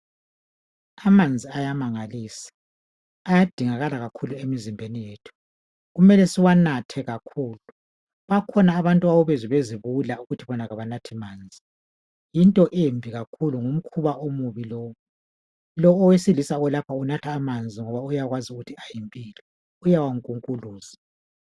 Amanzi ayamangalisa ayadingakala kakhulu emzimbeni yethu kumele siwanathe kakhulu bakhona abantu obezwa bezibula ukuthi bona abanathi manzi into embi kakhulu ngumkhuba omubi lowo. Lowu owesilisa olapha unatha amanzi uyakwazi ukuthi ayimpilo uyawankunkuluza.